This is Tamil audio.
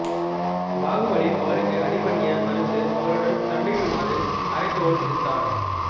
பாகுபலி அவருக்கு அடிபணிய மறுத்து அவருடன் சண்டையிடுமாறு அறைகூவல் விடுத்தார்